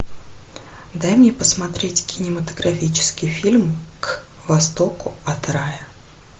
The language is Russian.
дай мне посмотреть кинематографический фильм к востоку от рая